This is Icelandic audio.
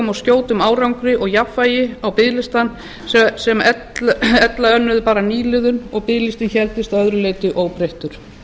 og skjótum árangri og jafnvægi á biðlista sem ella önnuðu bara nýliðun og biðlistinn héldist að öðru leyti óbreyttur